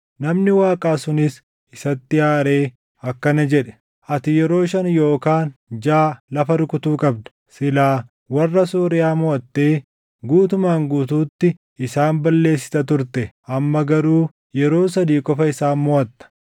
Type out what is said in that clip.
Namni Waaqaa sunis isatti aaree akkana jedhe; “Ati yeroo shan yookaan jaʼa lafa rukutuu qabda; silaa warra Sooriyaa moʼattee guutumaan guutuutti isaan balleessita turte. Amma garuu yeroo sadii qofa isaan moʼatta.”